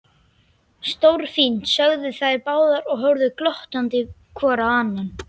Stórfínt sögðu þeir báðir og horfðu glottandi hvor á annan.